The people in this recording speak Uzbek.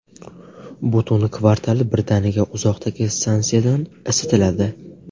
Butun kvartal birdaniga uzoqdagi stansiyadan isitiladi.